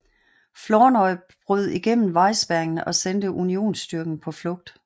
Flournoy brød igennem vejspærringen og sendte Unionsstyrken på flugt